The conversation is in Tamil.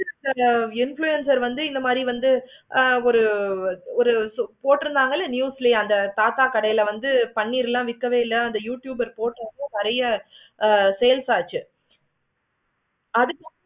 influencer வந்து இந்த மாதிரி வந்து ஒரு ஒரு போட்டிருந்தாங்க இலை mutely இல்லை தாத்தா கடையில பண்ணிரலாம் விக்கவே இல்லை. அந்த youtuber போட்டு ஆஹ் sales ஆச்சி. அதுக்கு வந்து